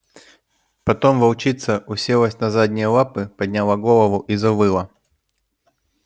потом волчица уселась на задние лапы подняла голову и завыла